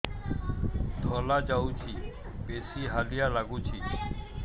ଧଳା ଯାଉଛି ବେଶି ହାଲିଆ ଲାଗୁଚି